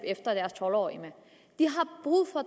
efter deres tolv årige med de